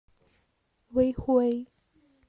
вэйхуэй